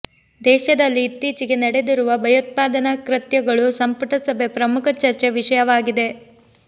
ದೇಶದಲ್ಲಿ ಇತ್ತೀಚೆಗೆ ನಡೆದಿರುವ ಭಯೋತ್ಪಾದನಾ ಕೃತ್ಯಗಳು ಸಂಪುಟ ಸಭೆ ಪ್ರಮುಖ ಚರ್ಚೆ ವಿಷಯವಾಗಿದೆ